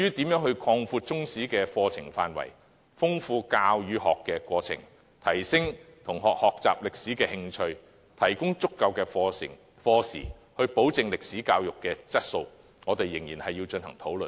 至於如何擴闊中史的課程範圍，豐富教與學的過程，提升同學學習歷史的興趣，以及提供足夠課時，保證歷史教育的質素，我們仍要進行討論。